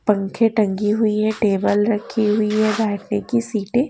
पंखे टंगी हुई है टेबल रखी हुई है बैठने की सीटें --